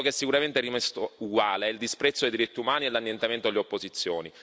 Quello che sicuramente è rimasto uguale è il disprezzo dei diritti umani e l'annientamento delle opposizioni.